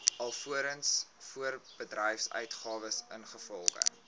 alvorens voorbedryfsuitgawes ingevolge